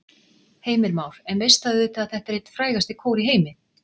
Heimir Már: En veist það auðvitað að þetta er einn frægasti kór í heimi?